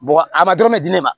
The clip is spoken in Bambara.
Bɔgɔ a ma dɔrɔn bɛ di ne ma